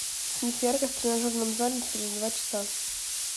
снизь яркость в тренажерном зале через два часа